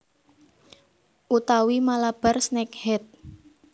Utawi Malabar snakehead